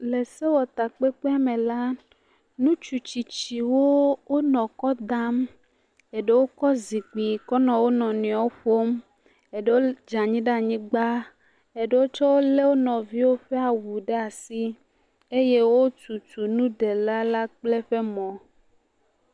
Le sewutakpekpe me la, ŋutsu tsitsiwo wonɔ ekɔ dam. Eɖewo kɔ zikpui kɔ nɔ wo nɔnɔewo ƒom. Eɖewo dze anyi ɖe anyigba, eɖewo tse le wo nɔviwo ƒe awu ɖe asi eye wotutu nuɖela la kple eƒe mɔ.